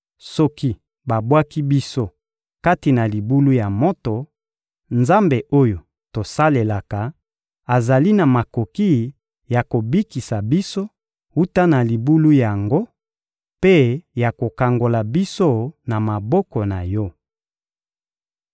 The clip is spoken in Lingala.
Soki babwaki biso kati na libulu ya moto, Nzambe oyo tosalelaka azali na makoki ya kobikisa biso wuta na libulu yango mpe ya kokangola biso na maboko na yo.